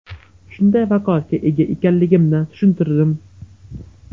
Shunday vakolatga ega ekanligimni tushuntirdim.